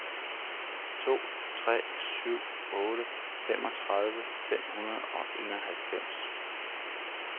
to tre syv otte femogtredive fem hundrede og enoghalvfems